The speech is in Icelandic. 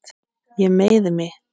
Ég meiði mig.